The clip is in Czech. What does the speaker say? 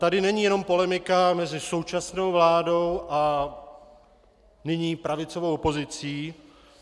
Tady není jen polemika mezi současnou vládou a nyní pravicovou opozicí.